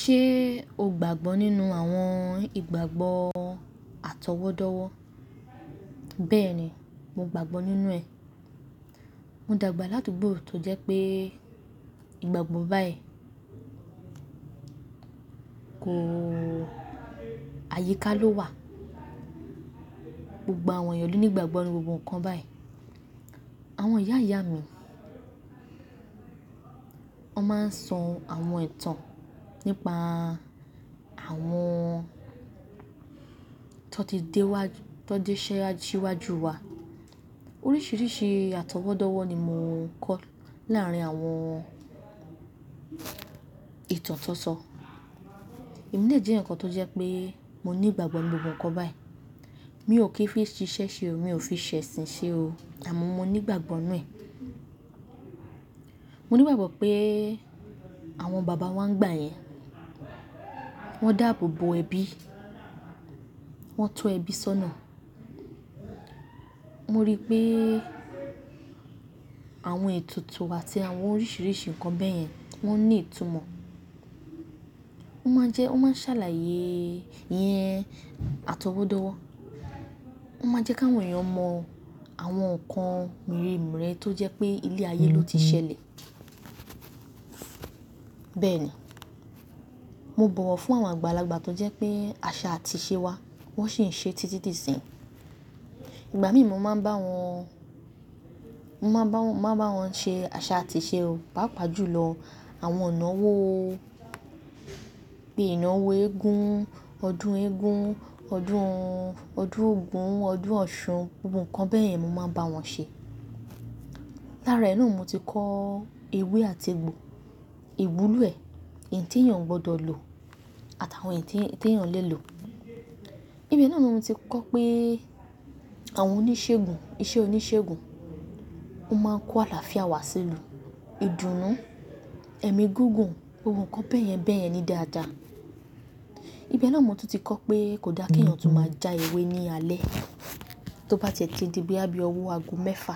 Ṣé o gbàgbọ́ nínú àwọn ìgbàgbọ́ atọwọ́dọ́wọ́? Bẹ́ẹ̀ ni, mo gbàgbọ́ nínú ẹ̀. Mo dàgbà ládugbò tó jẹ́ pé ìgbàgbọ́ báyìí kò-- àyíká ló wà. Gbogbo àwọn ènìyàn lò ní ìgbàgbọ́ nínu gbogbo nǹkan báyìí. Àwọn ìyá ìyá mi, wọ́n máa ń sọ àwọn ìtàn nípa àwọn ti won ti dé wá, ti won ti dé síwájú wa. Oríṣiríṣi àtọwọ́dọ́wọ́ ni mò kọ́ láàárín àwọn ìtàn tuntun. Èmi dè jẹ́ eeyan tó jẹ́ pé mo ní ìgbàgbọ́ nínu gbogbo nǹkan báyìí. Mi ò kí fi n ṣiṣẹ́ ṣe o, mi ò fi ṣẹ̀sìn ṣe o, àmọ́ mo ní ìgbàgbọ́ nínú ẹ̀. Mo ní ìgbàgbọ́ pé àwọn bàbá wa ńigbà yẹn, wọ́n dáàbò bo ẹbí, wọ́n tọ́ ẹbí sọ́nà. Mo rí pé àwọn ètùtù àti àwọn oríṣiríṣi nǹkan bẹ́yẹn wọ́n ní ìtumọ̀. Ó máa ń jẹ́, won máa ń ṣàlàyé ìyẹn àtọwọ́dọ́wọ́. Won máa ń jẹ́ kí àwọn èèyàn mọ àwọn nǹkan mere mere tó jẹ́ pé ilé ayé ló ti ṣẹlẹ̀. Bẹ́ẹ̀ ni, mo bọ̀wọ̀ fún àwọn àgbàlagbà tó jẹ́ pé àṣà àti ìṣe wa wọ́n sì ń ṣe títí di isin yii Ìgbà mí mo máa ń bá wọn, mo máa n bá wọn, mo máa n bá wọn ṣe àṣà àti ìṣe o, pàápàá jùlọ àwọn inawó bíi ìnáwó eégún, ọdún eégún, ọdún, ọdún ogun, ọdún ọ̀ṣun, gbogbo nǹkan bẹ́yẹn mo máa ń bá wọn ṣe. Lára ẹ náà ni mo ti kọ́ ewé àti egbò, ìwúlò ẹ̀, eyi tii èèyàn o gbọdọ̀ lò àti àwọn eyi ti èèyàn lè lò. Ibe náà ni mo ti kọ́ pé àwọn oníṣègùn, isẹ́ oníṣègùn, ó máa ń kó àlàáfíà wá sí ilu, ìdùnnú, ẹ̀mí gígùn, ohun kan bẹ́yẹn bẹ́yẹn ní dáadáa. Ibe náà ni mo tún ti kọ́ pé kò dáa kí èèyàn tún máa já ewé ní alẹ́ tó bá ti ẹ̀ ti di bíi boya bii owó aago mẹ́fa.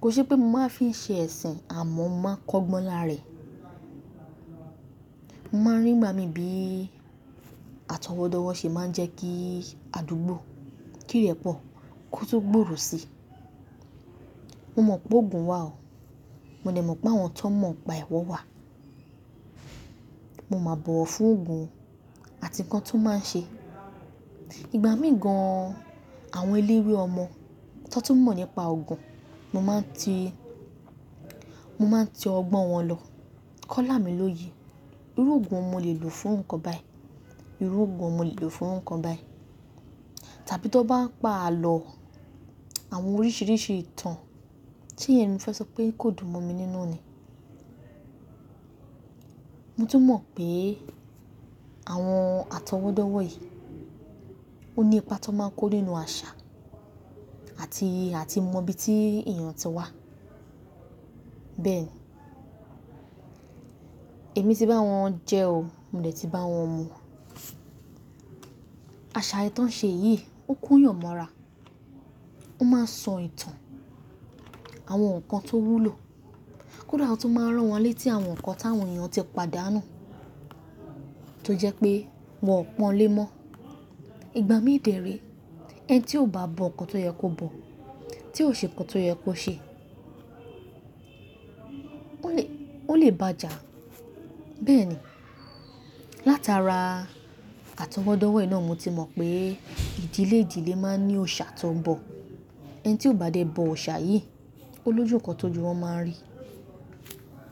Kò n ṣe pé mo máa fi n ṣe ẹ̀sìn àmọ́ mo máa n k'ọ́gbọ́n lára e. Mo máa ń rí ńigba mi bí àtọwọ́dọ́wọ́ ṣe máa ń jẹ́ kí àdúgbò kí irẹ̀pọ̀ kó tun gbòòrò si. Mo mọ̀ pé Òogún wà o, mo dẹ̀ mọ̀ pé àwọn ti won mọ̀ nipa e, won wà. Mo máa bọ̀wọ̀ fún oogún o àti nǹkan ti o máa ń ṣe. Ìgbà mií gan-an àwọn eléwé ọmọ tó tún mọ̀ nípa oogún, mo máa ń ti, mo máa ń tọ ọgbọ́n wọn lọ. Ki won lámi lójú, irú ogún wo ni mo lè lò fún nǹkan báyìí, irú oogún wo ni mo lè lò fún nǹkan báyìí. Tàbí ti won bá ń pa àlọ́, àwọn oríṣiríṣi ìtàn tí emi fẹ́ sọ pé kò dùn mọ́ mi nínú ni. Mo tún mọ̀ pé àwọn àtọwọ́dọ́wọ́ yìí ó ní ipa tó máa ń kó nínú àṣà àti, àti mọ ibi tí èèyàn ti wá. Bẹ́ẹ̀ ni, èmi tí bá wọn jẹ́ o, mo dẹ̀ tí bá wọn mu. Àṣà eyii ti won n ṣe yìí ó ko eeyàn mọ́ra. Ó máa ń sọ ìtàn àwọn nǹkan tó wúlò. Kódà ó tún máa rán wọn létí àwọn nǹkan táwọn èèyàn ti padànu tó jẹ́ pé wọ́n n pọn lé mọ́. Ìgbà mí dè re, ẹni tí ò bá bọ nǹkan tó yẹ kó bọ, tí ò ṣe nǹkan tó yẹ kó ṣe, ó lè, ó lè bàa jà. Bẹ́ẹ̀ ni, látara àtọwọ́dọ́wọ́ yìí náà mo ti mọ̀ pé ìdílé ìdílé máa ń ní òòṣà ti won ń bọ̀. Ẹni tí ò bá dé bọ òòṣà yìí, ó lójú nkan ti ojù wọ́n máa n rí.